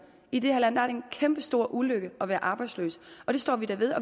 i det her land en kæmpestor ulykke at være arbejdsløs det står vi da ved